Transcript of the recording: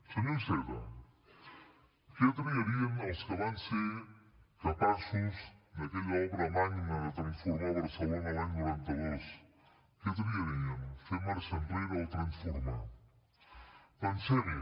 senyor iceta què triarien els que van ser capaços d’aquella obra magna de transformar barcelona l’any noranta dos què triarien fer marxa enrere o transformar pensem hi